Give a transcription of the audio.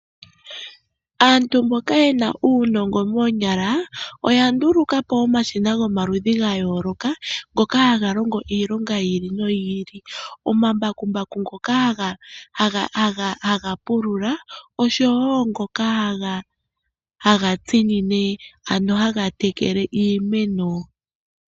Aantu mboka yena uunongo moonyala oya nduluka po omashina ngoka haga longo iilonga yi ili noyi ili. Omambakumbaku ngoka haga pulula oshowo ngoka haga tekele iimeno.